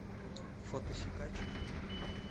фото секач